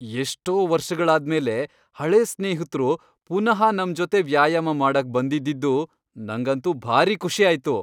ಎಷ್ಟೋ ವರ್ಷಗಳಾದ್ಮೇಲೆ ಹಳೇ ಸ್ನೇಹಿತ್ರು ಪುನಃ ನಮ್ ಜೊತೆ ವ್ಯಾಯಾಮ ಮಾಡಕ್ ಬಂದಿದ್ದಿದ್ದು ನಂಗಂತೂ ಭಾರೀ ಖುಷಿ ಆಯ್ತು.